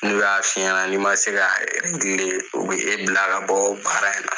N'u y'a fi ɲɛna n'i ma se ka u bi e bila ka bɔ baara in na.